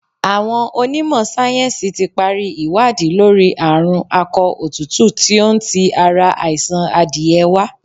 Àwọn ọnímọ̀ sáyẹ̀nsí ti pari ìwádìí lórí àrùn akọ òtútù tí ó ń ti ara àìsàn adìẹ wa.